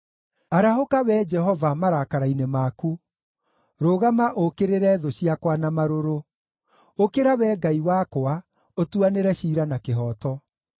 Arahũka Wee Jehova, marakara-inĩ maku; rũgama ũũkĩrĩre thũ ciakwa na marũrũ. Ũkĩra Wee Ngai wakwa, ũtuanĩre ciira na kĩhooto.